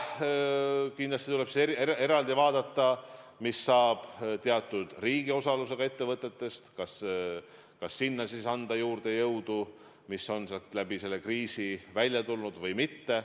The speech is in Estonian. Kindlasti tuleb eraldi vaadata, mis saab teatud riigiosalusega ettevõtetest, kas sinna anda juurde jõudu, mis on sealt selle kriisi tõttu välja läinud, või mitte.